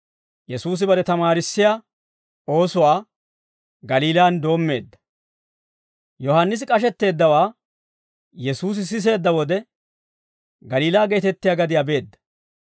Yohaannisi k'ashetteeddawaa Yesuusi siseedda wode, Galiilaa geetettiyaa gadiyaa beedda.